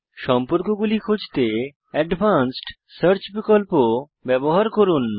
সম্পর্কগুলি খুঁজতে advanced search বিকল্প ব্যবহার করুন